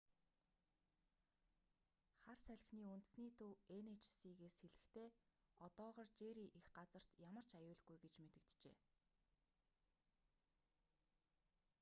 хар салхины үндэсний төв эн эйч си-с хэлэхдээ одоогоор жерри эх газарт ямар ч аюулгүй гэж мэдэгджээ